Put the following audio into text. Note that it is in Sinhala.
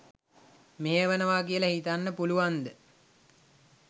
මෙහෙයවෙනවා කියලා හිතන්න පුළුවන්ද?